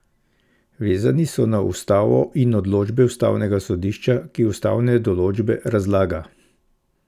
Vezani so na ustavo in odločbe ustavnega sodišča, ki ustavne določbe razlaga!